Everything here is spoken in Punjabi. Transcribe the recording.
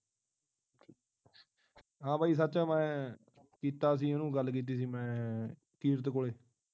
ਹਾਂ ਬਈ ਸੱਚ ਮੈ ਕੀਤਾ ਸੀ ਉਹਨੂੰ ਕੀਤੀ ਸੀ ਗੱਲ ਮੈਂ ਕਿਰਤ ਕੋਲੇ